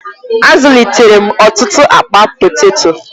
Azụlitere m ọtụtụ akpa poteto.